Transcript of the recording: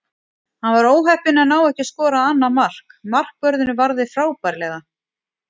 Hann var óheppinn að ná ekki að skora annað mark, markvörðurinn varði frábærlega.